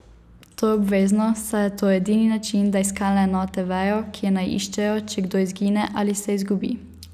To je obvezno, saj je to edini način, da iskalne enote vejo, kje naj iščejo, če kdo izgine ali se izgubi.